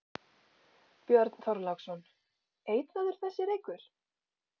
Björn Þorláksson: Eitraður þessi reykur?